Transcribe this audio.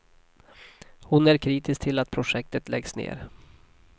Hon är kritisk till att projektet läggs ned.